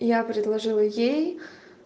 я предложила ей